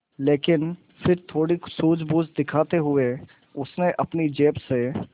लेकिन फिर थोड़ी सूझबूझ दिखाते हुए उसने अपनी जेब से